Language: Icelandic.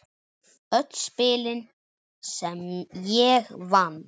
Öll spilin sem ég vann.